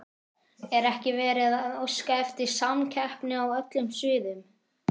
Er ekki verið að óska eftir samkeppni á öllum sviðum?